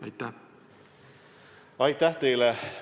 Aitäh teile!